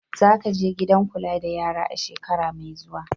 Za ka je gidan kula da yara a shekara mai zuwa!